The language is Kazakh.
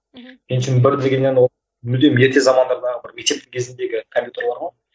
мхм пентиум бір дегеннен ол мүлдем ерте замандардағы бір мектептің кезіндегі компьютерлер ғой